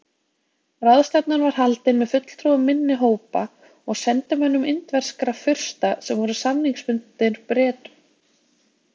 Ráðstefnan var haldin með fulltrúum minni hópa og sendimönnum indverskra fursta sem voru samningsbundnir Bretum.